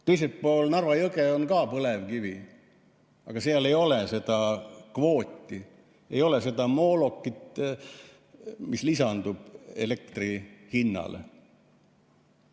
Teisel pool Narva jõge on ka põlevkivi, aga seal ei ole seda kvooti, ei ole seda moolokit, mis lisandub elektri hinnale.